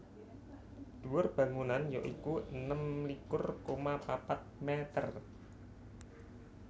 Dhuwur bangunan ya iku enem likur koma papat mèter